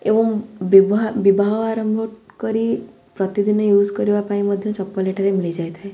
ଏବଂ ବିବା ବିବାହ ଆରମ୍ଭ କରି ପ୍ରତିଦିନ ୟୁଜ୍ କରିବା ପାଇଁ ମଧ୍ୟ ଚପଲ୍ ଏଠାରେ ମିଳିଯାଇଥାଏ।